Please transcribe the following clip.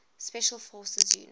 special forces units